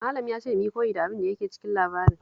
Malam ya ce mu yi koyi da abin da yake cikin labarin